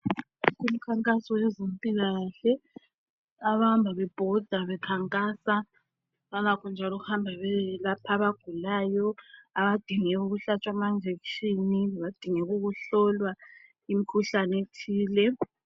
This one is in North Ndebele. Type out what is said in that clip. Umkhankaso wezempilakahle, abahamba bebhoda bekhankasa. Balakho njalo ukuhamba beyelapha abagulayo. Abadinga ukuhlatshwa ama jekishini. Labadingeka ukuhlolwa imkhuhlane ethile.